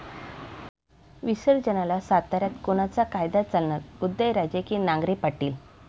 विसर्जनाला साताऱ्यात कोणाचा कायदा चालणार? उदयराजे की नांगरे पाटील?